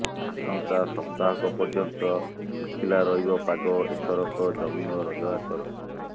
ଆସନ୍ତା ସପ୍ତାହକ ପର୍ଯ୍ୟନ୍ତ ଶୁଖିଲା ରହିବ ପାଗ ଏଥରକ ଜମିବ ରଜ ଆସର